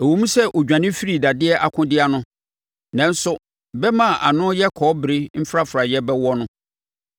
Ɛwom sɛ ɔdwane firi dadeɛ akodeɛ ano nanso bɛmma a ano yɛ kɔbere mfrafraeɛ bɛwɔ no.